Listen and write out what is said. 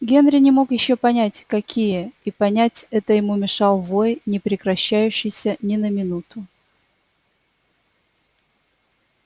генри не мог ещё понять какие и понять это ему мешал вой не прекращающийся ни на минуту